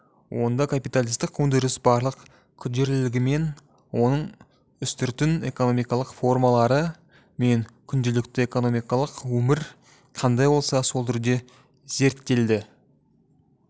онда капиталистік өндіріс барлық күрделілігімен оның үстіртін экономикалық формалары мен күнделікті экономикалық өмір қандай болса сол түрде зерттелді